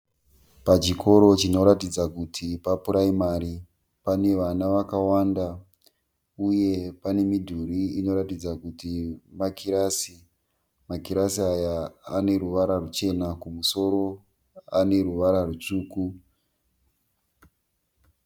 Pachikoro chinoratidza kuti papuraimari. Pane vana vakawanda uye pane midhuri inoratidza kuti makirasi. Makirasi aya aneruvara rwuchena, kumusoro aneruvara rutsvuku.